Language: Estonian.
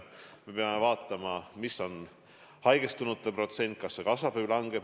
Me peame vaatama, milline on haigestunute protsent, kas see kasvab või kahaneb.